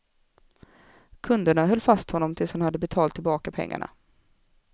Kunderna höll fast honom tills han hade betalat tillbaka pengarna.